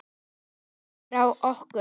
Snýr sér frá okkur.